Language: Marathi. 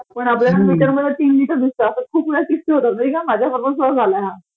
पण आपल्याला मीटर मध्ये तीन लिटर दिसतं असं खूप वेळा किस्से होतात नाही का?माझ्याबरोबर सुद्धा झालंय हा